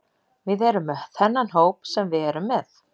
Við erum með þennan hóp sem við erum með.